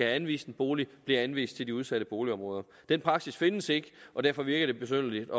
anvist en bolig bliver henvist til de udsatte boligområder den praksis findes ikke og derfor virker det besynderligt